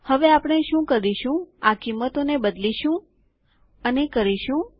હવે આપણે શું કરીશું આ કિંમતોને બદલીશું અને કરીશું